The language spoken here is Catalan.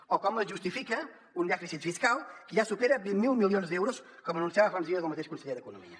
o com es justifica un dèficit fiscal que ja supera vint miler milions d’euros com anunciava fa uns dies el mateix conseller d’economia